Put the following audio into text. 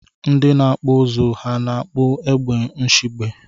Ndi na akpụ ụzụ ha na akpụ egbe nshiegbe?